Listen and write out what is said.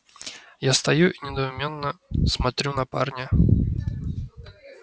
я стою и недоуменно смотрю на парня